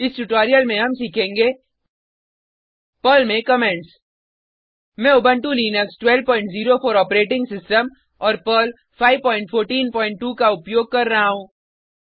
इस ट्यूटोरियल में हम सीखेंगे पर्ल में कमेंट्स मैं उबंटु लिनक्स 1204 ऑपरेटिंग सिस्टम और पर्ल 5142 का उपयोग कर रहा हूँ